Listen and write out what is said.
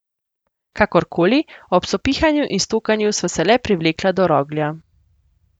Kakorkoli, ob sopihanju in stokanju sva se le privlekla do roglja.